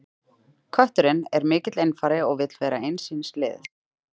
Kötturinn er mikill einfari og vill vera eins síns liðs.